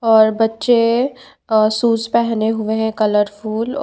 और बच्चे शुज पेहने हुए है कलरफुल ।